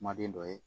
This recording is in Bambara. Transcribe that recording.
Kuma den dɔ ye